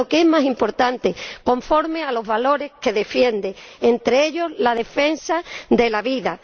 Y, lo que es más importante, conforme a los valores que defiende, entre ellos, la defensa de la vida.